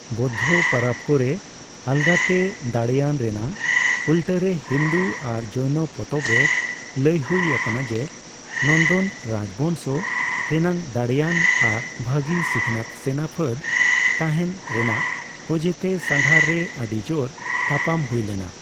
ᱵᱳᱫᱫᱷ ᱯᱟᱨᱟᱵ ᱠᱚᱨᱮ ᱟᱞᱜᱟᱛᱮ ᱫᱟᱲᱮᱭᱟᱱ ᱨᱮᱱᱟᱜ ᱩᱞᱴᱟᱹᱨᱮ ᱦᱤᱱᱫᱩ ᱟᱨ ᱡᱚᱭᱱᱚ ᱯᱚᱛᱚᱵ ᱨᱮ ᱞᱟᱹᱭ ᱦᱩᱭ ᱟᱠᱟᱱᱟ ᱡᱮ ᱱᱚᱱᱫᱚᱱ ᱨᱟᱡ ᱵᱚᱝᱥᱚ ᱨᱮᱱᱟᱜ ᱫᱟᱲᱮᱭᱟᱱ ᱟᱨ ᱵᱷᱟᱜᱤ ᱥᱤᱠᱷᱚᱱᱟᱹᱛ ᱥᱮᱱᱟ ᱯᱷᱟᱹᱫ ᱛᱟᱦᱮᱱ ᱨᱮᱱᱟᱜ ᱚᱡᱮᱛᱮ ᱥᱟᱸᱜᱷᱟᱨ ᱨᱮ ᱟᱹᱰᱤ ᱡᱳᱨ ᱛᱟᱯᱟᱢ ᱦᱩᱭ ᱞᱮᱱᱟ ᱾